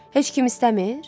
Heç kim istəmir?